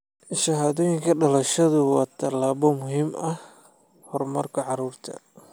Shahaadooyinka dhalashadu waa tallaabo muhiim u ah horumarka carruurta.